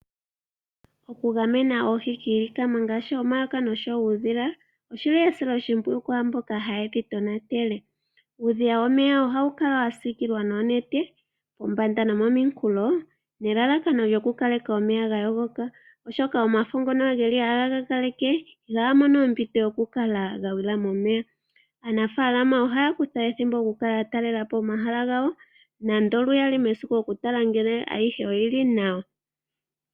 Okugamena oohi kiilikama ngaashi omayoka nosho woo uudhila, oshili esiloshimpwiyu kwaamboka ha yedhi tonatele. Uudhiya womeya ohawu kala wa siikilwa noonete pombanda nomominkulo, nelalakano lyo ku kaleka omeya ga yogoka oshoka omafo ngono geli haga gagaleke ihaga mono ompito yoku kala ga gwila momeya. Aanafaalama ohaya kutha ethimbo poku kala ya talela po omahala gawo nando luyali mesiku oku tala ngele ayihe oyili nawa.